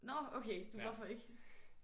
Nåh okay du hvorfor ikke?